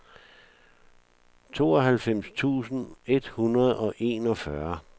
tooghalvfems tusind et hundrede og enogfyrre